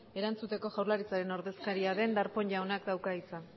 erantzuteko jaurlaritzaren ordezkaria den darpón jaunak dauka hitza